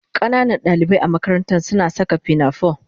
Ƙananan dalibai a makarantar suna saka pinafore